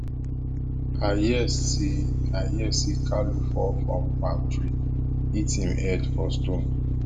i hear say i hear say kalu fall from palm tree hit him head for stone